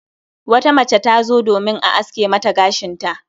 Wata mace tazo domin a aske Mata gashinta